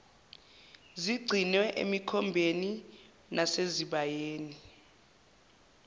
zigcinwe emikhombeni nasezibayeni